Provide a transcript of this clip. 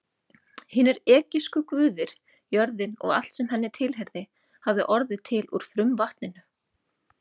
Hinir egypsku guðir, jörðin og allt sem henni tilheyrði, hafði orðið til úr frumvatninu.